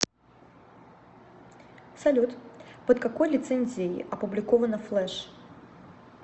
салют под какой лицензией опубликовано флеш